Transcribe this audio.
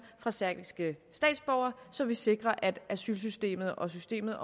fra serbiske statsborgere så vi sikrer at asylsystemet og systemet